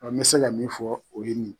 An bɛ se ka min fɔ o ye nin